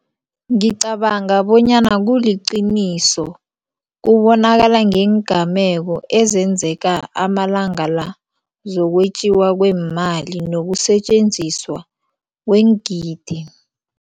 Ngicabanga bonyana kuliqiniso kubonakala ngeengameko ezenzeka amalanga la zokwetjiwa kweemali nokusetjenziswa kweengidi.